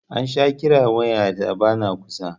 An sha kiran waya ta ba na kusa